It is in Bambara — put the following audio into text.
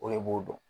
O de b'o dɔn